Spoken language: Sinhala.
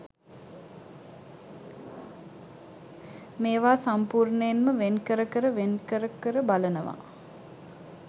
මේවා සම්පූර්ණයෙන්ම වෙන් කර කර වෙන් කර කර බලනවා.